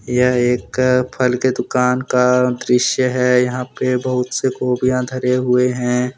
यह एक फल के दुकान का दृश्य है यहां पे बहुत से गोभियां धरे हुए हैं।